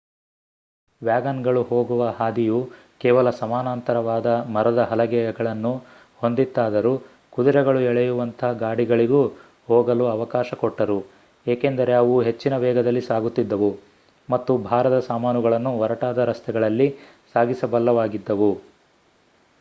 ವ್ಯಾಗನ್ಗಳು ಹೋಗುವ ಹಾದಿಯು ಕೇವಲ ಸಮಾನಾಂತರವಾದ ಮರದ ಹಲಗೆಗಳನ್ನು ಹೊಂದಿತ್ತಾದರೂ ಕುದುರೆಗಳು ಎಳೆಯುವಂಥ ಗಾಡಿಗಳಿಗೂ ಹೋಗಲು ಅವಕಾಶ ಕೊಟ್ಟರು ಏಕೆಂದರೆ ಅವು ಹೆಚ್ಚಿನ ವೇಗದಲ್ಲಿ ಸಾಗುತ್ತಿದ್ದವು ಮತ್ತು ಭಾರದ ಸಾಮಾನುಗಳನ್ನೂ ಒರಟಾದ ರಸ್ತೆಗಳಲ್ಲಿ ಸಾಗಿಸಬಲ್ಲವಾಗಿದ್ದವು